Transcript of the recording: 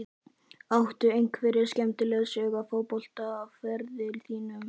Áttu einhverja skemmtilega sögu af fótboltaferli þínum?